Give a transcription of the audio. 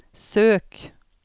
søk